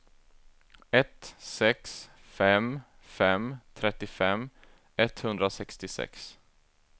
ett sex fem fem trettiofem etthundrasextiosex